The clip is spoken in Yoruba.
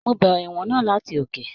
Mo bẹrẹ ìwọ̀n náà láti òkè.